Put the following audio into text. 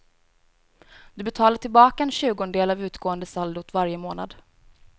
Du betalar tillbaka en tjugondel av utgående saldot varje månad.